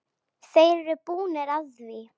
Þeir eru búnir að því.